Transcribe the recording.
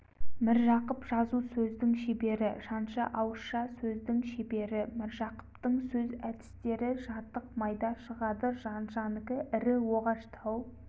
міржақып жазу сөздің шебері жанша ауызша сөздің шебері міржақыптың сөз әдістері жатық майда шығады жаншанікі ірі оғаштау